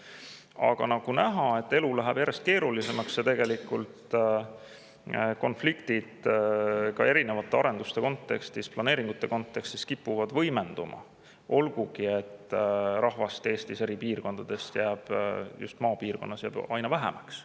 Aga nagu näha, elu läheb järjest keerulisemaks ja konfliktid ka erinevate arenduste kontekstis, planeeringute kontekstis kipuvad võimenduma, olgugi et rahvast Eestis eri piirkondades jääb just maal aina vähemaks.